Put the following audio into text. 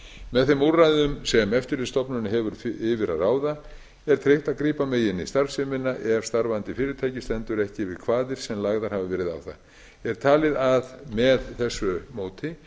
með þeim úrræðum sem eftirlitsstofnun hefur yfir að ráða er tryggt að grípa megi inn í starfsemina ef starfandi fyrirtæki stendur ekki við kvaðir sem lagðar hafa verið á það er talið að með þessu móti